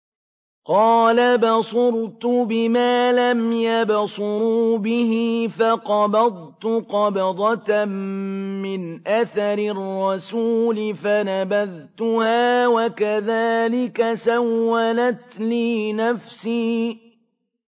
قَالَ بَصُرْتُ بِمَا لَمْ يَبْصُرُوا بِهِ فَقَبَضْتُ قَبْضَةً مِّنْ أَثَرِ الرَّسُولِ فَنَبَذْتُهَا وَكَذَٰلِكَ سَوَّلَتْ لِي نَفْسِي